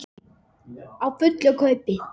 Á fullu kaupi.